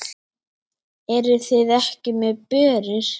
Eruð þið ekki með börur?